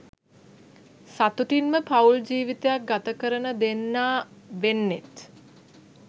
සතුටින්ම පවුල් ජීවිතයක් ගත කරන දෙන්නා වෙන්නෙත්.